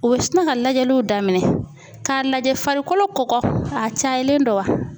U bɛ sina ka lajɛliw daminɛ k'a lajɛ farikolo kɔgɔ a cayalen don wa?